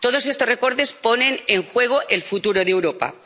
Todos estos recortes ponen en juego el futuro de Europa.